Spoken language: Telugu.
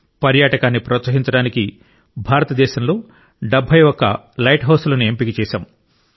పర్యాటకాన్ని ప్రోత్సహించడానికి భారతదేశంలో 71 లైట్ హౌజులను ఎంపిక చేశాం